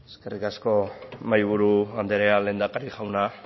eskerrik asko mahaiburu andrea lehendakari jauna